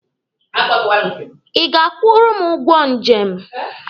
Ị ga-akwụrụ m ụgwọ njem?